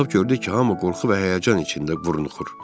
Baxıb gördük ki, hamı qorxu və həyəcan içində burunuxur.